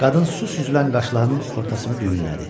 Qadın su süzülən qaşlarının ortasını düyünlədi.